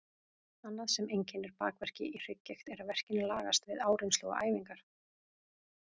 Annað sem einkennir bakverki í hrygggigt er að verkirnir lagast við áreynslu og æfingar.